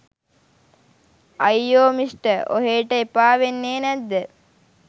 අයියෝ මිස්ටර් ඔහේට එපා වෙන්නේ නැද්ද